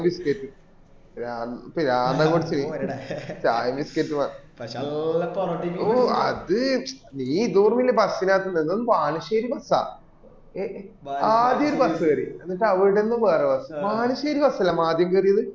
biscuit പിര പിരാന്ത് അങ് പിടിച്ചോയി ചായ biscuit അ ആ അത് നീ ഇതോടു bus ന് കാത്തുന്നു എന്തോന്ന് ബാലുശ്ശേരി bus അ ആദ്യം ഒരു bus അല്ലെ നമ്മള് ആദ്യം കേറിയത്